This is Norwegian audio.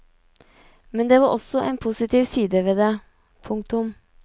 Men det var også en positiv side ved det. punktum